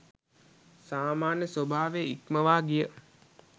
සාමාන්‍ය ස්වභාව ඉක්මවා ගිය